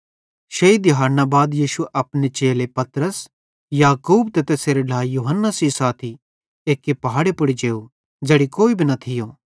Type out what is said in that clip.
शेइ दिहाड़ना बाद यीशु अपने चेले पतरस याकूब त यूहन्ना सेइं साथी एक्की पहाड़े पुड़ जेव ज़ेड़ी कोई भी न थियो